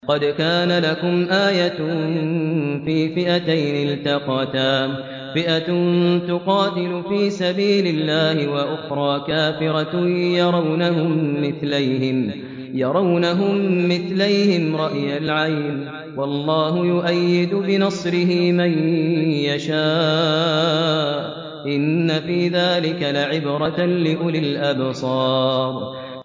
قَدْ كَانَ لَكُمْ آيَةٌ فِي فِئَتَيْنِ الْتَقَتَا ۖ فِئَةٌ تُقَاتِلُ فِي سَبِيلِ اللَّهِ وَأُخْرَىٰ كَافِرَةٌ يَرَوْنَهُم مِّثْلَيْهِمْ رَأْيَ الْعَيْنِ ۚ وَاللَّهُ يُؤَيِّدُ بِنَصْرِهِ مَن يَشَاءُ ۗ إِنَّ فِي ذَٰلِكَ لَعِبْرَةً لِّأُولِي الْأَبْصَارِ